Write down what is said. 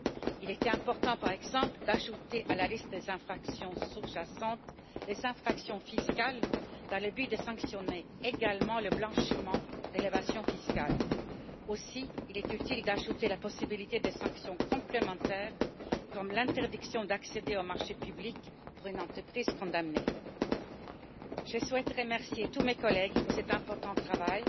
Il était important, par exemple, d'ajouter à la liste des infractions sous jacentes les infractions fiscales dans le but de sanctionner également le blanchiment d'évasion fiscale. Il était également utile d'ajouter la possibilité de sanctions complémentaires, comme l'interdiction d'accéder aux marchés publics pour une entreprise condamnée. Je souhaite remercier tous mes collègues pour cet important travail,